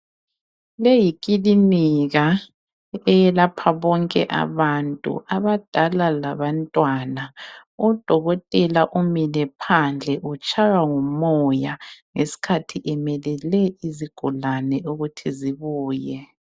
Leyi yikilinika eyelapha bonke abantu, abadala labantwana. Udokotela umile phandle utshaywa ngumoya ngesikhathi emelele izigulane ukuthi zibuye.